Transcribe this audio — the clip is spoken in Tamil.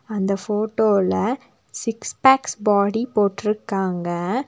அந்த ஃபோட்டோலெ சிக்ஸ் பேக்ஸ் பாடி போட்ருக்காங்க.